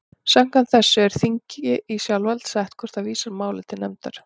Samkvæmt þessu er þingi í sjálfsvald sett hvort það vísar máli til nefndar.